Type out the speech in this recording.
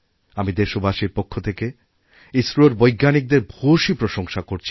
আমি দেশবাসীদের পক্ষথেকে ইসরোর বৈজ্ঞানিকদের ভূয়সী প্রশংসা করছি